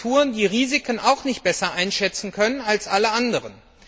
als Agenturen, die Risiken auch nicht besser einschätzen können als alle anderen.